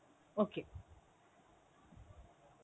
okay.